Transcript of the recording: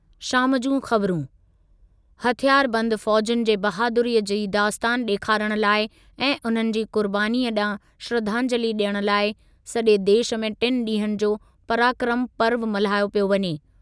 शाम जूं ख़बरूं, हथियारबंद फ़ौज़ुनि जी बहादुरीअ जी दास्तान ॾेखारण लाइ ऐं उन्हनि जी क़ुर्बानीअ ॾांहुं श्रधांजलि ॾियण लाइ सॼे देशु में टिनि ॾींहनि जो पराक्रम पर्व मल्हायो पियो वञे।